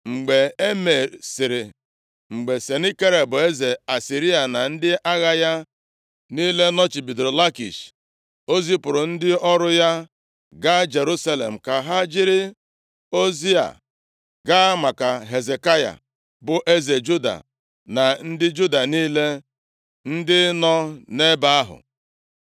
Mgbe e mesiri, mgbe Senakerib eze Asịrịa na ndị agha ya niile nọchibidoro Lakish, o zipụrụ ndị ọrụ ya gaa Jerusalem, ka ha jiri ozi a gaa maka Hezekaya, bụ eze Juda na ndị Juda niile ndị nọ nʼebe ahụ: